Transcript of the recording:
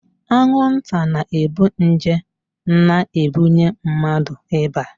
Anwụnta na-ebu nje na-ebunye mmadụ ịba.